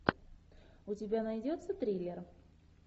у тебя найдется триллер